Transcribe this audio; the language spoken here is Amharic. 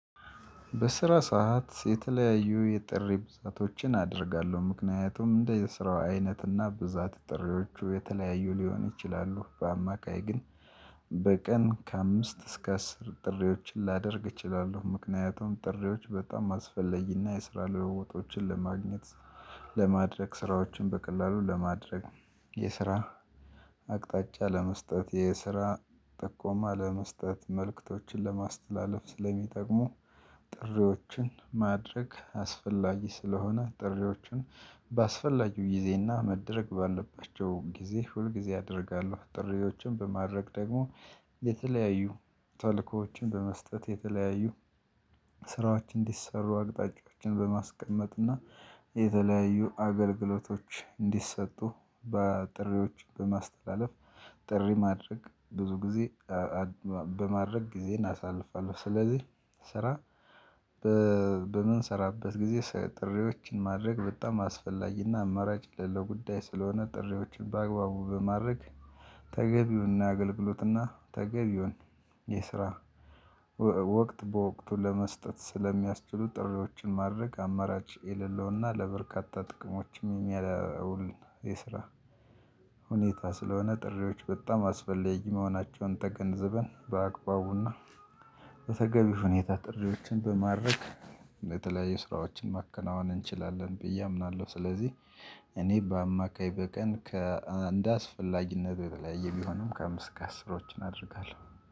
በስራ ሰዓት የተለያዩ የጥሪ ብዛቶችን አደርጋለሁ። ምክንያቱም እንደየስራው አይነትና ብዛት ጥሪዎቹ የተለያዩ ሊሆን ይችላሉ። በአማካይ ግን:- በቀን ከአምስት እስከ አስር ጥሪዎችን ላደርግ እችላለሁ። ምክንያቱም ጥሪዎች በጣም አስፈለጊና የስራ ለውጦችን ለማግኘት:- ለማድረግ ስራዎችን በቀላሉ ለማድረግ የስራ አቅጣጫ ለመስጠት የስራ ጥቆማ ለመስጠት መልእክቶችን ለማስተላለፍ ስለሚጠቅሙ- ጥሪዎችን ማድረግ አስፈላጊ ስለሆነ ጥሪዎችን ባስፈላጊው ጊዜና መደረግ ባለባቸው ጊዜ ሁል ጊዜ አደርጋለሁ። ጥሪዎችን በማድረግ ደግሞ- የተለያዩ ተልእኮዎችን በመስጠት የተለያዩ ስራዎች እንዲሰሩ አቅጣጫዎችን በማስቀመጥና የተለያዩ አገልግሎቶች እንዲሰጡ በጥሪዎች በማስተላለፍ ጥሪ ማድረግ ብዙ ጊዜ- በማድረግ ጊዜን አሳልፋለሁ። ስለዚህ ስራ- በምንሰራበት ጊዜ ጥሪዎችን ማድረግ በጣም አስፈላጊና አማራጭ ለጉዳይ ስለሆነ ጥሪዎችን በአግባቡ በማድረግ ተገቢውን አገልግሎትና ተገቢውን የስራ- ወቅት በወቅቱ ለመስጠት ስለሚያስችሉ ጥሪዎችን ማድረግ አማራጭ የሌለውና ለበርካታ ጥቅሞችም የሚውል የስራ- ሁኔታ ስለሆነ ጥሪዎች በጣም አስፈለጊ መሆናቸውን ተገንዝበን በአግባቡና- በተገቢ ሁኔታ ጥሪዎችን በማድረግ በተለያዩ ስራዎችን ማከናወን እንችላለን ብዬ አምናለሁ። ስለዚህ እኔ በአማካይ በቀን ከአንድ እንደአስፈላጊነቱ የተለያየ ቢሆንም ከአምስት እስክ ከአስሮችን አደርጋለሁ።